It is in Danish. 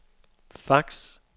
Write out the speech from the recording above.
fax